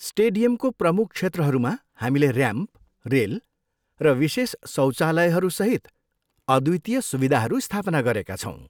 स्टेडियमको प्रमुख क्षेत्रहरूमा, हामीले ऱ्याम्प, रेल र विशेष शौचालयहरू सहित अद्वितीय सुविधाहरू स्थापना गरेका छौँ।